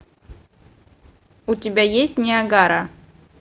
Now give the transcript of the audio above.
у тебя есть ниагара